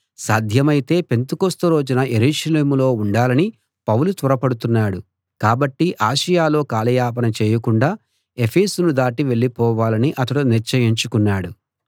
సాధ్యమైతే పెంతెకొస్తు రోజున యెరూషలేములో ఉండాలని పౌలు త్వరపడుతున్నాడు కాబట్టి ఆసియలో కాలయాపన చేయకుండా ఎఫెసును దాటి వెళ్ళిపోవాలని అతడు నిశ్చయించుకున్నాడు